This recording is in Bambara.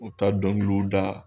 O be taa dɔnkiliw da